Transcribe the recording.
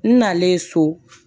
N nalen so